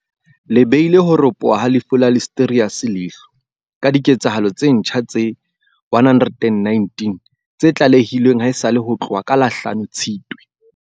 le beile ho ropoha ha lefu la Listeriosis leihlo, ka dike tsahalo tse ntjha tse 119 tse tlalehilweng haesale ho tloha ka la hlano 5 Tshitwe.